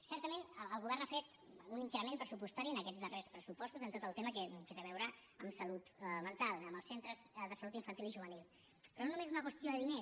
certament el govern ha fet un increment pressupostari en aquests darrers pressupostos amb tot el tema que té a veure amb salut mental amb els centres de salut infantil i juvenil però només és una qüestió de diners